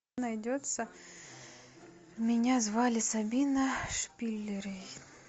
найдется меня звали сабина шпильрейн